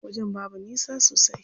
Wajen babu nisa sosai.